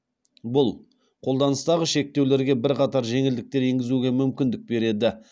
бұл қолданыстағы шектеулерге бірқатар жеңілдіктер енгізуге мүмкіндік береді